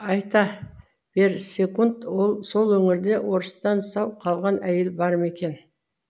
айта берсекунд сол өңірде орыстан сау қалған әйел бар ма екен